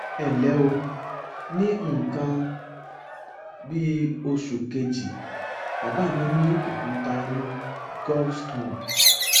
ẹnlẹ o ní nǹkan bí oṣù kejì bàbá mi ní òkúta inú gallstone